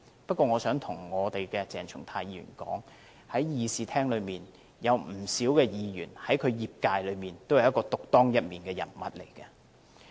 不過，我想對鄭松泰議員說，在會議廳內有不少議員在其業界中，都是獨當一面的人物。